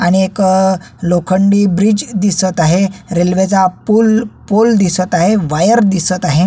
आणि एक लोखंडी ब्रिज दिसत आहे रेल्वेचा पूल पूल दिसत आहे वायर दिसत आहे.